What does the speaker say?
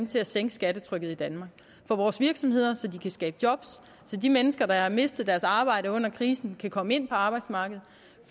til at sænke skattetrykket i danmark for vores virksomheder så de kan skabe job så de mennesker der har mistet deres arbejde under krisen kan komme ind på arbejdsmarkedet